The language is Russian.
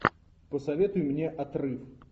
посоветуй мне отрыв